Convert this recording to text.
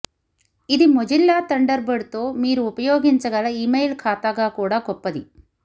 ఇది Mozilla Thunderbird తో మీరు ఉపయోగించగల ఇమెయిల్ ఖాతాగా కూడా గొప్పది